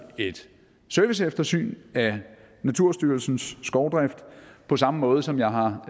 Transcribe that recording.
et serviceeftersyn af naturstyrelsens skovdrift på samme måde som jeg har